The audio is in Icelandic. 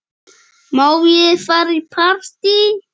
Má ég fara í partí?